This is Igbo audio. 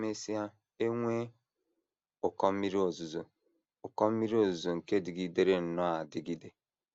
E mesịa, e nwee ụkọ mmiri ozuzo, ụkọ mmiri ozuzo nke dịgidere nnọọ adigide.